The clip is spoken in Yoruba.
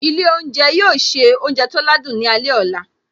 Ilé oúnjẹ yóò se oúnjẹ tó ládùn ní alẹ́ ọ̀la